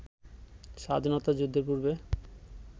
স্বাধীনতা যুদ্ধের পূর্বে